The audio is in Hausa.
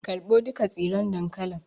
Karɓo duka tsiron dankalin